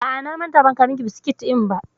A'a, na manta ban kawo miki biskit ɗin ba.